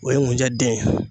O ye ŋunjɛ den ye.